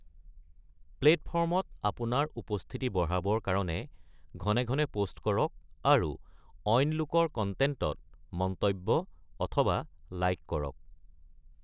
প্লেটফ'ৰ্মত আপোনাৰ উপস্থিতি বঢ়াবৰ কাৰণে ঘনে ঘনে পোষ্ট কৰক আৰু অইন লোকৰ কণ্টেণ্টত মন্তব্য অথবা লাইক কৰক।